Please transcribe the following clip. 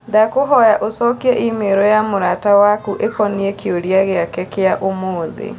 Ndakũhoya ũcokie i-mīrū ya mũrata waku ĩkonĩĩ kĩũria gĩake kia ũmũthi